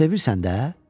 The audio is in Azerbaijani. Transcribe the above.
Sevirsən də?